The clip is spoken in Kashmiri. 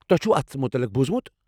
تۄہہِ چھُوٕ اتھ متلق بوٗزمُت؟